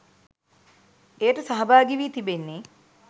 එයට සහභාගි වී තිබෙන්නේ